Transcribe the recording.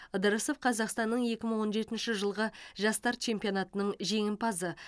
ыдырысов қазақстанның екі мың он жетінші жылғы жастар чемпионатаның жеңімпазы